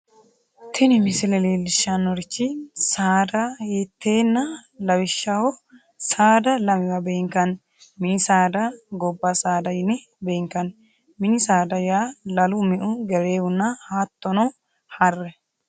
tini misile leellishshannorichi saada ihhitanna lawishshaho saada lamewa beenkanni mini saada, gobba saada yine beenkanni mini saada yaa lalu, me"u,gereewunna hattono harre.